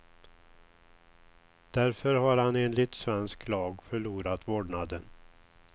Därför har han enligt svensk lag förlorat vårdnaden.